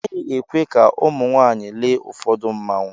Agaghị ekwe ka ụmụ nwaanyị lee ụfọdụ mmanwụ.